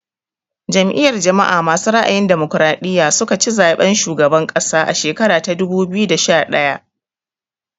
Jam'iyar jama'a masu ra'ayin damokaraɗiya su ka ci zaɓen shugaban ƙasa a shekara ta dubu biyu da sha ɗaya